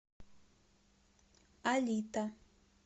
алита